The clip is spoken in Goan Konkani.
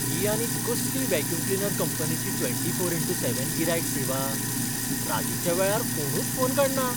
ही आनीक कसली व्हॅक्यूम क्लिनर कंपनीची ट्वेंटी फोर इन्टू सेवन गिरायक सेवा! रातीच्या वेळार कोणूच फोन काडना.